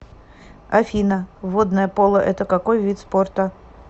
афина водное поло это какой вид спорта